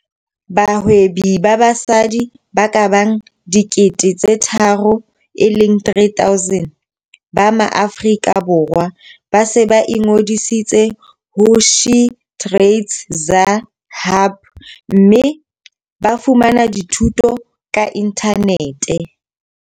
Bahwebi ba basadi ba ka bang 3 000 ba Maaforika Borwa ba se ba ingodisitse ho SheTradesZA Hub mme ba fumana dithuto ka inthanete.